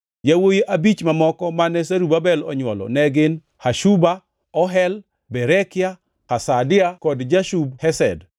Yawuowi abich mamoko mane Zerubabel onywolo ne gin: Hashuba, Ohel, Berekia, Hasadia kod Jushab-Hesed.